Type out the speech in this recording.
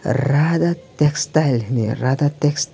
raa da textile hing ye radha tax --